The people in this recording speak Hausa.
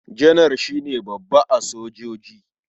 Janar shi ne babba a sojoji.